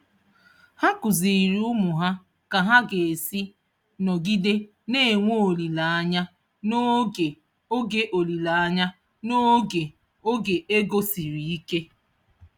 Ha kụziiri ụmụ ha ka ha ga-esi nọgide na-enwe olileanya n'oge oge olileanya n'oge oge ego siri ike.